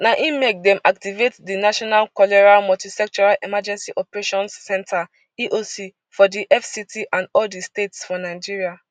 na im make dem activate di national cholera multisectoral emergency operations centre eoc for di fct and all di states for nigeria